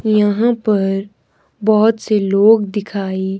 ये यहां पर बहोत से लोग दिखाई--